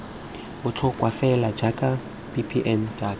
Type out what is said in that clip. botlhokwa fela jaaka mbpm jaaka